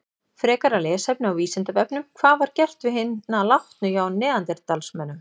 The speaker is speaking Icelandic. Frekara lesefni á Vísindavefnum: Hvað var gert við hina látnu hjá neanderdalsmönnum?